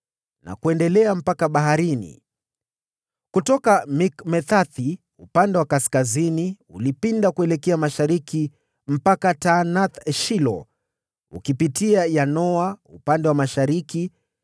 na kuendelea mpaka baharini. Kutoka Mikmeta upande wa kaskazini ulipinda kuelekea mashariki hadi Taanath-Shilo, ukiupita hadi Yanoa upande wa mashariki.